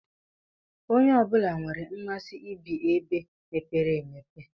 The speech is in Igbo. Onye ọbula nwèrè mmasị ibi ebe mepere emepe.